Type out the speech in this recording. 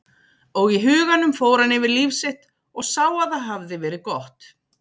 Og í huganum fór hann yfir líf sitt og sá að það hafði verið gott.